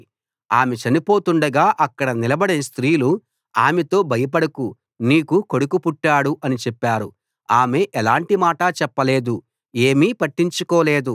ఆమె చనిపోతుండగా అక్కడ నిలబడిన స్త్రీలు ఆమెతో భయపడకు నీకు కొడుకు పుట్టాడు అని చెప్పారు ఆమె ఎలాంటి మాటా చెప్పలేదు ఏమీ పట్టించుకోలేదు